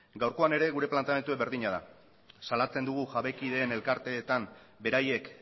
gaurkoan ere gure planteamendua berdina da salatzen dugu jabekideen elkarteetan beraiek